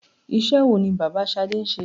Iṣẹ́ wo ni bàbá Ṣadé ń ṣe?